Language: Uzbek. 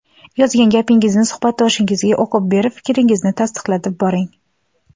Yozgan gapingizni suhbatdoshingizga o‘qib berib, fikringizni tasdiqlatib boring.